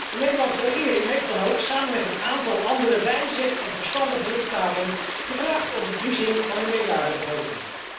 De Nederlandse regering heeft dan ook, samen met een aantal andere wijze en verstandige lidstaten, gevraagd om bevriezing van de meerjarenbegroting.